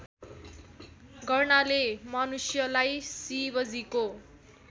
गर्नाले मनुष्यलाई शिवजीको